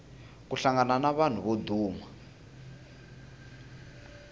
ku hlangana na vanhu vo duma